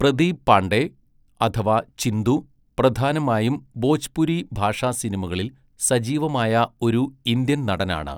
പ്രദീപ് പാണ്ഡെ അഥവാ ചിന്തു പ്രധാനമായും ഭോജ്പുരി ഭാഷാ സിനിമകളിൽ സജീവമായ ഒരു ഇന്ത്യൻ നടനാണ്.